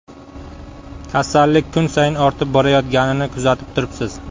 Kasallik kun sayin ortib borayotganini kuzatib turibsiz.